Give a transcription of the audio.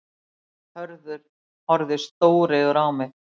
Hörður horfði stóreygur á mig.